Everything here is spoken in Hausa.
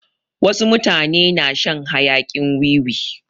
Wasu mutane na shan hayakin wiwi.